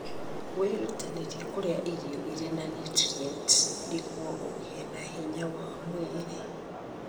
Wĩrutanĩrie kũrĩa irio irĩ na niutrienti nĩguo ũgĩe na hinya wa mwĩrĩ.